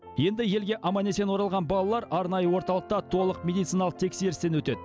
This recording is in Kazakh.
енді елге аман есен оралған балалар арнайы орталықта толық медициналық тексерістен өтеді